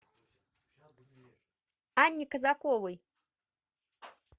анне казаковой